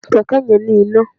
Kẹ̀kẹ́ yẹn ní iná.